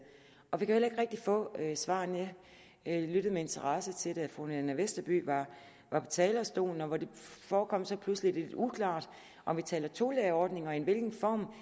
og vi kan rigtig få svarene jeg lyttede med interesse da fru nanna westerby var på talerstolen og det forekom så pludselig lidt uklart om vi taler om tolærerordninger og i hvilken form